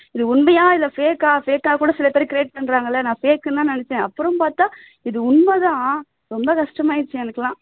இது உண்மையா இல்ல fake ஆ fake ஆ கூட சில பேர் create பண்றாங்கல்ல நான் fake னுதான் நினைச்சேன் அப்பறம் பாத்தா இது உண்மைதா ரொம்ப கஷ்டமாயிருச்சு எனக்கெல்லாம்